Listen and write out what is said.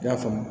I y'a faamu